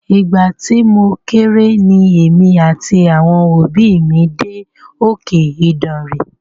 Ìgbà tí mo kéré ni èmi àti àwọn òbí mí dé òkè Ìdànre.